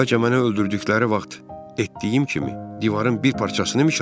Bəlkə məni öldürdükləri vaxt etdiyim kimi divarın bir parçasını mişarlayaq?